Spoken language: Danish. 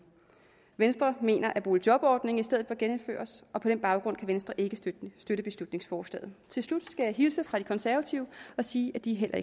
venstre mener at boligjobordningen i stedet genindføres og på den baggrund kan venstre ikke støtte beslutningsforslaget til slut skal jeg hilse fra de konservative og sige at de heller